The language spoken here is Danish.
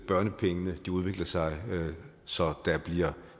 børnepengene udvikler sig så der bliver